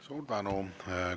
Suur tänu!